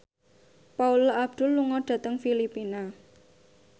Paula Abdul lunga dhateng Filipina